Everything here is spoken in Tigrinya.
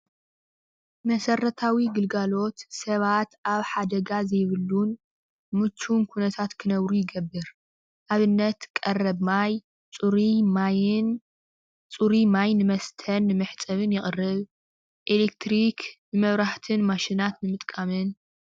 መሰራታዊ ግልጋሎት ሰባት ኣብ ሓደጋ ዘይብሉን ሙችውን ኩነታት ክነብሩ ይገብር። ኣብነት ቀረብ ማይ ፅሩይ ማይን ፅሩይ ማይን መስተን ንመሕፀብን መስተን ይቅርብ፣ ኤለክትሪክ ንመብራህትን ማሽናትን ንምጥቃምን።